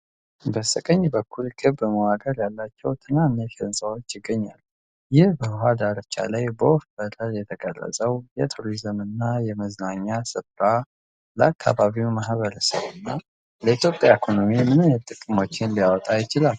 በስተቀኝ በኩል ክብ መዋቅር ያላቸው ትናንሽ ሕንፃዎች ይገኛሉ። ይህ በውሃ ዳርቻ ላይ በወፍ በረር የተቀረፀው የቱሪዝም እና የመዝናኛ ስፍራ፣ ለአካባቢው ማኅበረሰብ እና ለኢትዮጵያ ኢኮኖሚ ምን አይነት ጥቅሞችን ሊያመጣ ይችላል?